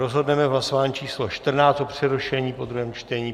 Rozhodneme v hlasování číslo 14 o přerušení po druhém čtení.